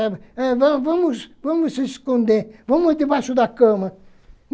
eh va vamos vamos se esconder, vamos debaixo da cama.